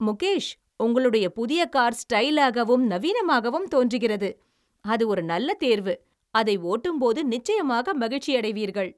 முகேஷ், உங்களுடைய புதிய கார் ஸ்டைலாகவும் நவீனமாகவும் தோன்றுகிறது. அது ஒரு நல்ல தேர்வு, அதை ஓட்டும்போது நிச்சயமாக மகிழ்ச்சியடைவீர்கள்.